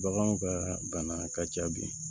Baganw ka bana ka ca bi